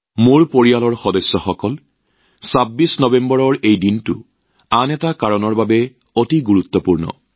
মোৰ পৰিয়ালৰ সদস্যসকল এই ২৬ নৱেম্বৰৰ দিনটো আৰু এটা কাৰণত অত্যন্ত তাৎপৰ্যপূৰ্ণ